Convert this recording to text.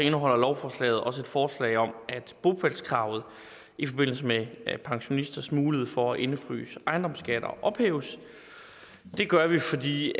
indeholder lovforslaget også et forslag om at bopælskravet i forbindelse med pensionisters mulighed for at indefryse ejendomsskatter ophæves det gør vi fordi